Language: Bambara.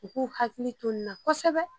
U k'u hakili to n na kosɛbɛ